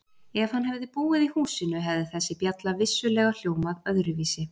Ef hann hefði búið í húsinu hefði þessi bjalla vissulega hljómað öðruvísi.